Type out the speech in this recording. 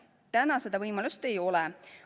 Praegu seda võimalust ei ole.